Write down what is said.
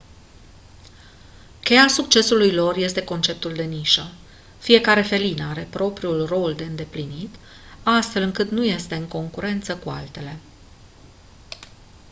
cheia succesului lor este conceptul de nișă fiecare felină are propriul rol de îndeplinit astfel încât nu este în concurență cu altele